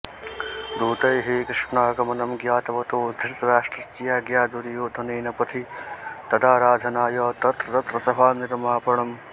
दूतैः श्रीकृष्णागमनं ज्ञातवतो धृतराष्ट्रस्याज्ञया दुर्योधनेन पथि तदाराधनाय तत्रतत्र सभानिर्मापणम्